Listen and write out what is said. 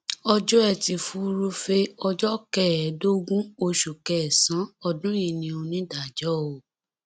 ọjọ etí furuufee ọjọ kẹẹẹdógún oṣù kẹsànán ọdún yìí ni onídàájọ o